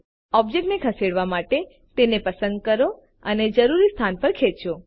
object ખસેડવા માટે તેને પસંદ કરો અને જરૂરી સ્થાન પર ખેંચો